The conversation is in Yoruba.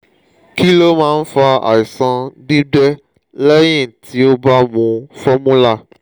kí ló máa ń fa àìsàn gbígbẹ́ lẹ́yìn tí o bá mu formula?